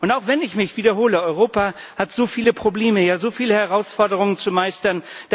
Und auch wenn ich mich wiederhole Europa hat so viele Probleme, ja, so viele Herausforderungen zu meistern.